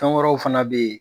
Fɛn wɛrɛw fana be ye